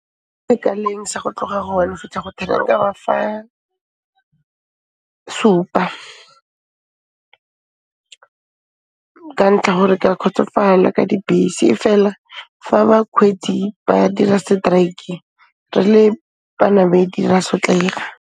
Kaleng sa go tloga go one go fitlha go ten, nka ba fa supa ka ntlha gore k'a khotsofala ka dibese e fela fa bakhweetsi ba dira seteraeke, re le banamedi ra sotlega.